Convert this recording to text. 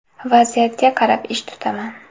Vaziyatga qarab ish tutaman.